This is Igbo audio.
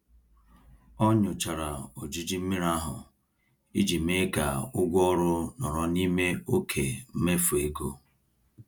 Ọ nyochara ojiji mmiri ahụ iji mee ka ụgwọ ọrụ nọrọ n'ime oke mmefu ego.